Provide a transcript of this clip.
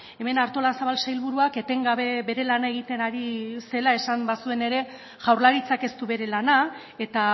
hemen artolazabal sailburuak etengabe bere lana egiten ari zela esan bazuen ere jaurlaritzak ez du bere lana eta